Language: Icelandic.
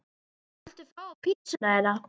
Hvað viltu fá á pizzuna þína?